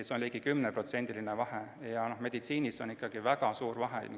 See on ligi 10%-line vahe, meditsiinis on see väga suur vahe.